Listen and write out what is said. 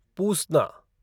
पूसना